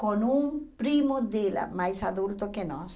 com um primo dela, mais adulto que nós.